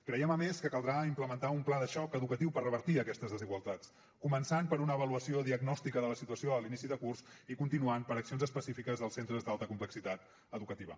creiem a més que caldrà implementar un pla de xoc educatiu per revertir aquestes desigualtats començant per una avaluació diagnòstica de la situació a l’inici de curs i continuant per accions específiques als centres d’alta complexitat educativa